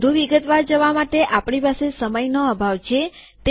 આમાં વધુ વિગતવાર જવા માટે આપણી પાસે સમયનો અભાવ છે